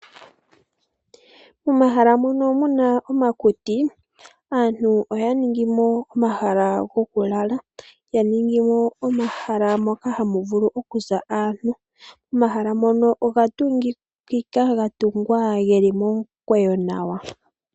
Momahala mono muna omakuti aantu oya ningi mo omahala gokulala , yaningi mo omahala moka hamu vulu okuza aantu. Omahala ngono oga tungikika gatungwa geli momukweyo nawa.